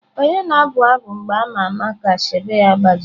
Onye na-abụ abụ mbe ama ama ka shegbe ya gbajiri?